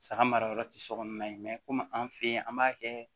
Saga marayɔrɔ ti sokɔnɔna ye komi an fe yen an b'a kɛ